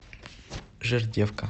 жердевка